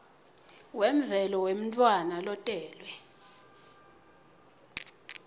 wemvelo wemntfwana lotelwe